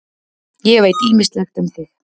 Ég veit ýmislegt um þig.